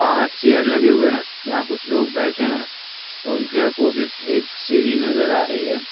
बहार चेयर लगे हुवे है जहाँ कुछ लोग बैठे ह है और उनके ऑपोजिट एक सीढ़ी नजर आ रही है।